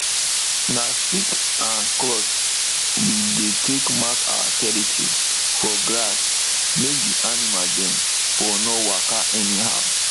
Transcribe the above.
na stick and cloth we dey take mark our territory for grass make d animal dem for nor waka anyhow